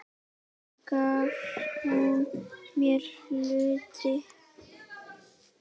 Svo gaf hún mér hluti.